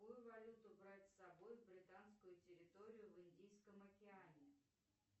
какую валюту брать с собой в британскую территорию в индийском океане